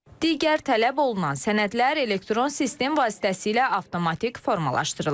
Digər tələb olunan sənədlər elektron sistem vasitəsilə avtomatik formalaşdırılır.